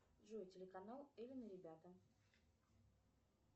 джой телеканал элен и ребята